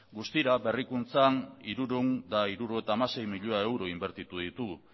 guztira berrikuntzan hirurehun eta hirurogeita hamasei milioi euro inbertitu ditugu